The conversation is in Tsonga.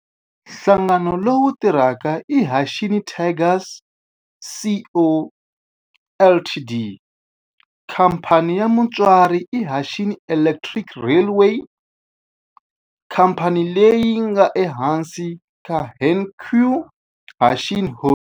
Nhlangano lowu tirhaka i Hanshin Tigers Co., Ltd. Khamphani ya mutswari i Hanshin Electric Railway, khamphani leyi nga ehansi ka Hankyu Hanshin Holdings.